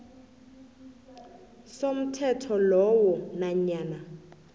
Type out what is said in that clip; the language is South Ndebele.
somthetho lowo nanyana